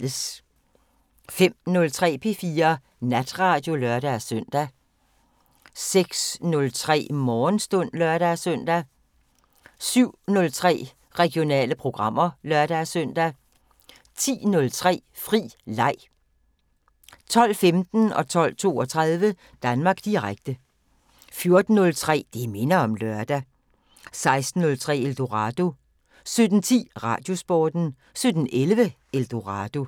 05:03: P4 Natradio (lør-søn) 06:03: Morgenstund (lør-søn) 07:03: Regionale programmer (lør-søn) 10:03: Fri leg 12:15: Danmark Direkte 12:32: Danmark Direkte 14:03: Det minder om lørdag 16:03: Eldorado 17:10: Radiosporten 17:11: Eldorado